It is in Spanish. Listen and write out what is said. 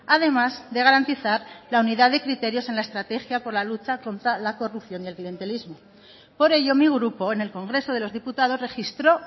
además de garantizar la unidad de criterios en la estrategia por la lucha contra la corrupción y el clientelismo por ello mi grupo en el congreso de los diputados registró